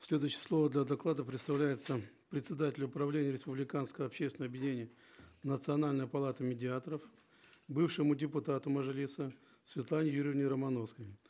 следующее слово для доклада предоставляется председателю правления республиканского общественного объединения национальная палата медиаторов бывшему депутату мажилиса светлане юрьевне романовской